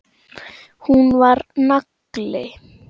Hún var nagli.